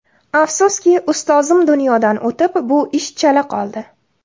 Afsuski, ustozim dunyodan o‘tib, bu ish chala qoldi.